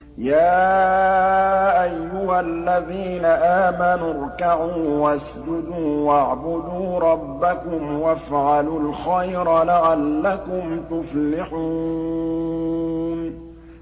يَا أَيُّهَا الَّذِينَ آمَنُوا ارْكَعُوا وَاسْجُدُوا وَاعْبُدُوا رَبَّكُمْ وَافْعَلُوا الْخَيْرَ لَعَلَّكُمْ تُفْلِحُونَ ۩